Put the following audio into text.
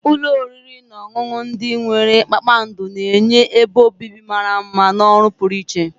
Ụlọ oriri na ọṅụṅụ ndị nwere kpakpando na-enye ebe obibi mara mma na ọrụ pụrụ iche.